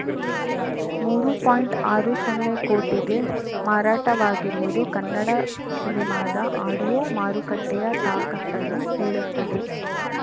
ಮೂರು ಪಾಯಿಂಟ್ಆರು ಸೊನ್ನೆ ಕೋಟಿಗೆ ಮಾರಾಟವಾಗಿರುವುದು ಕನ್ನಡ ಸಿನಿಮಾದ ಆಡಿಯೋ ಮಾರುಕಟ್ಟೆಯ ತಾಕತ್ತನ್ನು ಹೇಳುತ್ತದೆ